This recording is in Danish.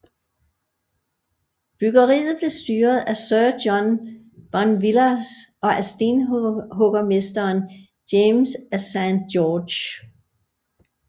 Byggeriet blev styret af sir John Bonvillars og af stenhuggermesteren James af Saint George